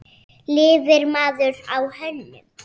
Lifir maður á hönnun?